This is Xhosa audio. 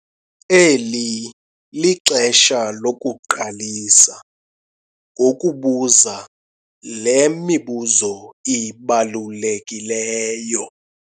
Eli lixesha lokuqalisa ngokubuza le mibuzo ibalulekileyo!